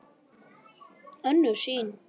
Önnur sýn